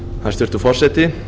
hæstvirtur forseti